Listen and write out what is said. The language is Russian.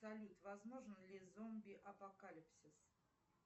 салют возможен ли зомби апокалипсис